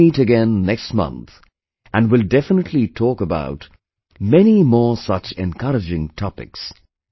We will meet again next month and will definitely talk about many more such encouraging topics